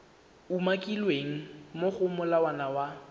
umakilweng mo go molawana wa